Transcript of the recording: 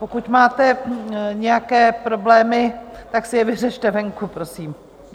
Pokud máte nějaké problémy, tak si je vyřešte venku, prosím.